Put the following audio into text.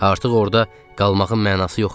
Artıq orda qalmağın mənası yox idi.